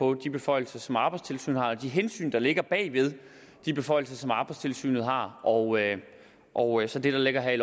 på de beføjelser som arbejdstilsynet har og de hensyn der ligger bag de beføjelser som arbejdstilsynet har og og så det der ligger i